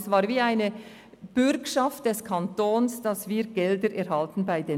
Es war wie eine Bürgschaft des Kantons, damit wir Gelder der Banken erhielten.